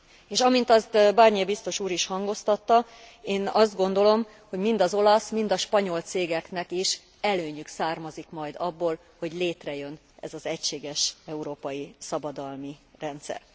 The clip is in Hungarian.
És amint azt Barnier biztos úr is hangoztatta, én azt gondolom, hogy mind az olasz, mind a spanyol cégeknek is előnyük származik majd abból, hogy létrejön ez az egységes európai szabadalmi rendszer.